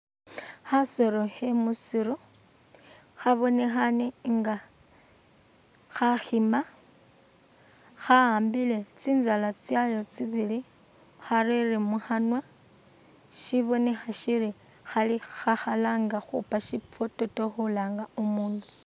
Khasolo khe musiru khabonekha inga khakhima khahambile tsitsala tsayo tsibili kharara mukhanwa shibonekha shiri khalanga khukhupa shifoteto khulanga umundu.